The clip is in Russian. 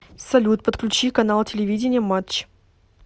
салют подключи канал телевидения матч